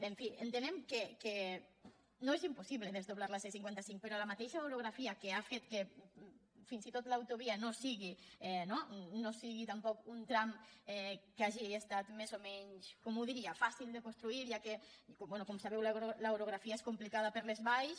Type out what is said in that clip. en fi entenem que no és impossible desdoblar la c·cinquanta cinc però la mateixa orogra·fia ha fet que fins i tot l’autovia no sigui tampoc un tram que hagi estat més o menys com ho diria fàcil de construir ja que com sabeu l’orografia és compli·cada per les valls